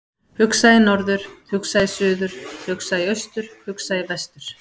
Hugsa í norður, hugsa í suður, hugsa í austur, hugsa í vestur.